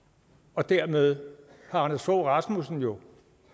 og dermed har anders fogh rasmussen jo